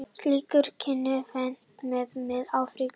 Slíkir kynþættir finnast víða í Mið-Afríku og Ástralíu.